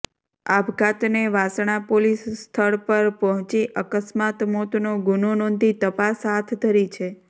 આપઘાતને Vasna police સ્થળ પર પહોંચી અકસ્માત મોતનો ગુનો નોંધી તપાસ હાથ ધરી છે